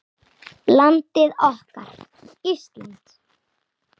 Landið okkar, Ísland.